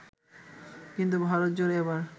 কিন্তু ভারতজুড়ে এবার